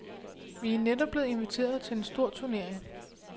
Vi er netop blevet inviteret til en stor turnering.